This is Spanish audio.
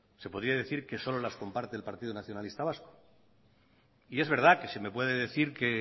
se podría decir que solo las comparte el partido nacionalista vasco y es verdad que se me puede decir que